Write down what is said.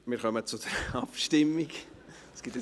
Das führt dann zu einem Kropf!